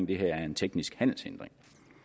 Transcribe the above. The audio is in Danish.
det her er en teknisk handelshindring